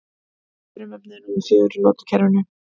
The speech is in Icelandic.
Hvaða frumefni er númer fjögur í lotukerfinu?